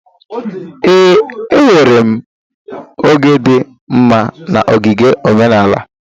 Ee, enwere m oge dị mma na ogige omenala.